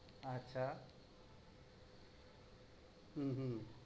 আচ্ছা, হু হু।